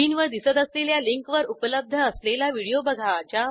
स्क्रीनवर दिसत असलेल्या लिंकवर उपलब्ध असलेला व्हिडिओ बघा